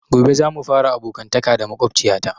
Gobe za mu fara abokantaka da makwabciya ta